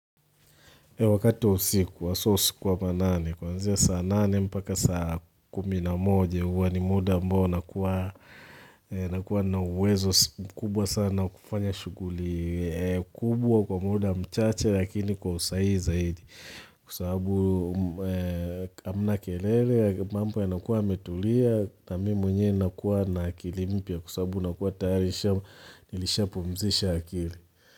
Wakati wa usiku hasw usiku wa manane. Kwa kuanzia saa nane mpaka saa kumi na moja huwa ni muda ambao nakuwa na uwezo mkubwa sana kufanya shughuli kubwa kwa muda mchache lakini kwa usahihi zaidi. Kwa sababu amna kelele mambo yanakuwa yametulia na mm mwenyewe nakuaye m na akilimpia kusabu nakuwa tahari nilishapo mzisha akili.